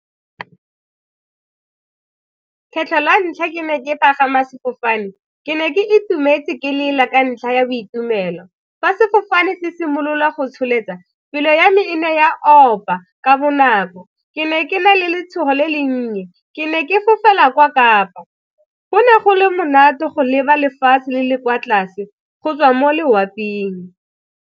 Kgetlho la ntlha ke ne ke pagama sefofane, ke ne ke itumetse ke lela ka ntlha ya boitumelo. Fa sefofane se simololwa go tsholetsa, pelo ya me e ne ya opa ka bonako ke ne ke na le letshogo le le nnye, ke ne ke fofela kwa kapa go ne go le monate go leba lefatshe le le kwa tlase go tswa mo loapeng.